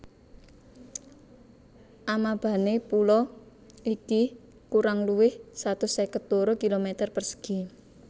Amabane pulo iki kurang luwih satus seket loro kilometer persegi